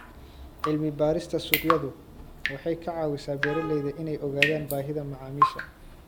Cilmi-baarista suuqyadu waxay ka caawisaa beeralayda inay ogaadaan baahida macaamiisha.